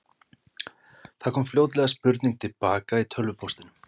Það kom fljótlega spurning til baka í tölvupóstinum.